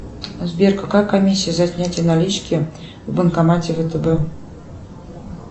сбер какая комиссия за снятие налички в банкомате втб